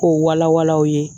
K'o wala wala aw ye